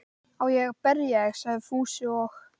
Á ég að berja þig? sagði Fúsi og